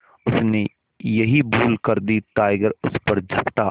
उसने यही भूल कर दी टाइगर उस पर झपटा